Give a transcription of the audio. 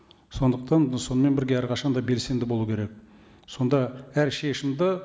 сондықтан сонымен бірге әрқашан да белсенді болу керек сонда әр шешімді